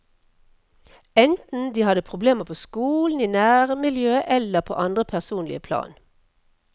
Enten de hadde problemer på skolen, i nærmiljøet eller på andre personlige plan.